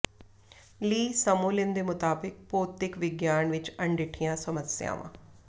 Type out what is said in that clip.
ਲੀ ਸਮੋਲਿਨ ਦੇ ਮੁਤਾਬਕ ਭੌਤਿਕ ਵਿਗਿਆਨ ਵਿਚ ਅਣਡਿੱਠੀਆਂ ਸਮੱਸਿਆਵਾਂ